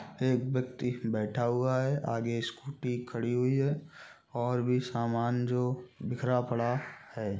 एक व्यक्ति बैठा हुआ है आगे स्कूटी खड़ी हुई है और भी सामान जो बिखरा पड़ा हैं।